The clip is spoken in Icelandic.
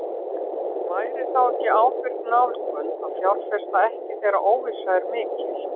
Væri þá ekki ábyrg nálgun að fjárfesta ekki þegar óvissa er mikil?